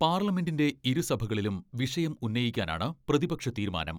പാർലമെന്റിന്റെ ഇരു സഭകളിലും വിഷയം ഉന്നയിക്കാനാണ് പ്രതിപക്ഷ തീരുമാനം.